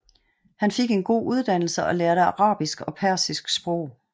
Han fik en god uddannelse og lærte arabisk og persisk sprog